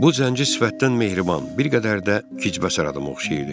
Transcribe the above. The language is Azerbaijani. Bu zənci sifətdən mehriban, bir qədər də Hıçbəsar adıma oxşayırdı.